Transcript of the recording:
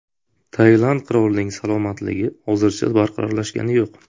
Tailand qirolining salomatligi hozircha barqarorlashgani yo‘q.